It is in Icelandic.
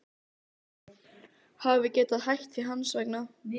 Hafi getað hætt því hans vegna.